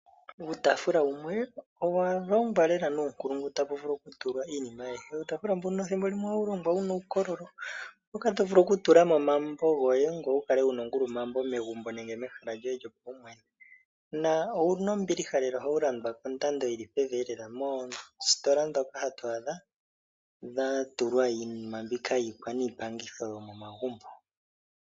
Uutafula wumwe owalongwa lela nuunkulungu tovulu okutulamo iinima ayihe. Uutafula mbuka ethimbo limwe ohawu longwa wuna uukololo moka tovulu okutula mo omambo goye ngoye wukale wuna ongulumambo megumbo lyoye nenge mehala lyoye lyopaumwne, na owuna ombiliha lela ohawu landwa kondando yili pevi lela moositola dhoka hatu adha dhatulwa iinima mbyoka yikwaniipangitho yomomagumbo.